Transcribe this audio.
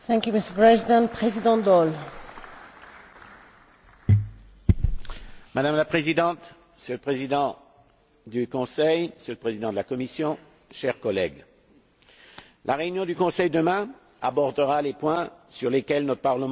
Madame la Présidente, Monsieur le Président du Conseil, Monsieur le Président de la Commission, chers collègues, lors de sa réunion, demain, le Conseil abordera les points sur lesquels notre Parlement s'est déjà penché l'union bancaire et l'achèvement de l'union économique et monétaire.